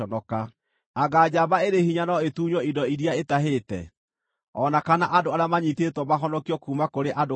Anga njamba ĩrĩ hinya no ĩtunywo indo iria itahĩte, o na kana andũ arĩa maanyiitĩtwo mahonokio kuuma kũrĩ andũ karaũ?